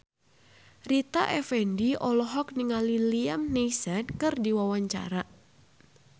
Rita Effendy olohok ningali Liam Neeson keur diwawancara